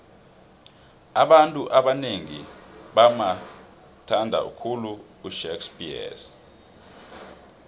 abantu abanengi bamuthnada khulu ushakespears